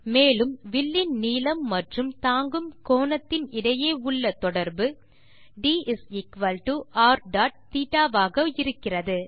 மேலும் வில்லின் நீளம் மற்றும் தாங்கும் கோணத்தின் இடையே உள்ள தொடர்பு drθ ஆக இருக்கிறது